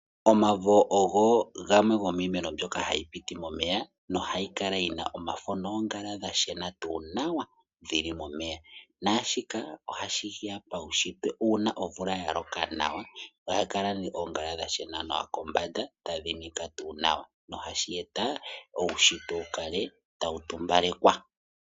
Omavo ogo gamwe gomiimeno mbyoka hayi mene momeya, nohayi kala yi na omafo noongala dha shena nawa dhi li momeya naashika ohashi ya paushitwe. Uuna omvula ya loka nawa, oongala ohadhi kala dha shena nawa kombanda tadhi nika nawa nohashi eta uushitwe wu kale tawu tumbalekwa.